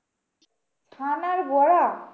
ছানার বড়া?